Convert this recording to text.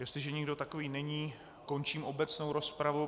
Jestliže nikdo takový není, končím obecnou rozpravu.